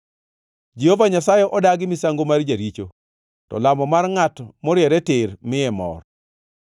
Jehova Nyasaye odagi misango mar jaricho, to lamo mar ngʼat moriere tir miye mor.